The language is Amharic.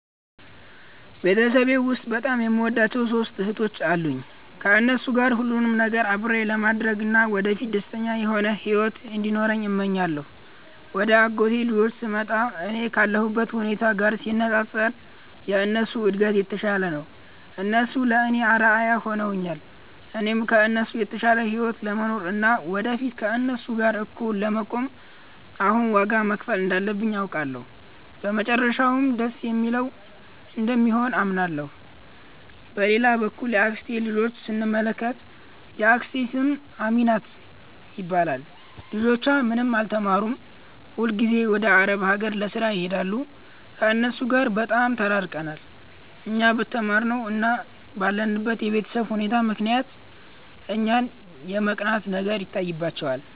ቤተሰቤ ውስጥ በጣም የምወዳቸው ሦስት እህቶች አሉኝ። ከእነሱ ጋር ሁሉንም ነገር አብሬ ለማድረግ እና ወደፊት ደስተኛ የሆነ ሕይወት እንዲኖረን እመኛለሁ። ወደ አጎቴ ልጆች ስንመጣ፣ እኔ ካለሁበት ሁኔታ ጋር ሲነጻጸር የእነሱ እድገት የተሻለ ነው። እነሱ ለእኔ አርአያ ሆነውኛል። እኔም ከእነሱ የተሻለ ሕይወት ለመኖር እና ወደፊት ከእነሱ ጋር እኩል ለመቆም አሁን ዋጋ መክፈል እንዳለብኝ አውቃለሁ፤ መጨረሻውም ደስ የሚል እንደሚሆን አምናለሁ። በሌላ በኩል የአክስቴን ልጆች ስንመለከት፣ የአክስቴ ስም አሚናት ይባላል። ልጆቿ ምንም አልተማሩም፤ ሁልጊዜም ወደ አረብ አገር ለሥራ ይሄዳሉ። ከእነሱ ጋር በጣም ተራርቀናል። እኛ በተማርነው እና ባለንበት የቤተሰብ ሁኔታ ምክንያት እኛን የመቅናት ነገር ይታይባቸዋል